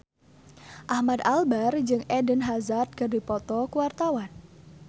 Ahmad Albar jeung Eden Hazard keur dipoto ku wartawan